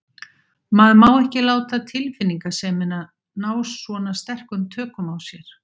Maður má ekki láta tilfinningasemina ná svona sterkum tökum á sér.